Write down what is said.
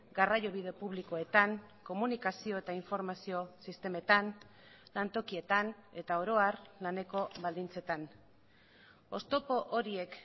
garraiobide publikoetan komunikazio eta informazio sistemetan lantokietan eta oro har laneko baldintzetan oztopo horiek